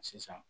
Sisan